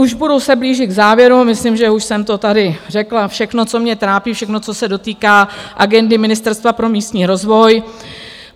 Už se budu blížit k závěru, myslím, že už jsem to tady řekla všechno, co mě trápí, všechno co se dotýká agendy Ministerstva pro místní rozvoj.